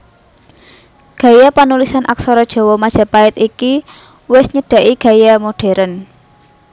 Gaya panulisan aksara gaya Majapait iki wis nyedhaki gaya modhèrn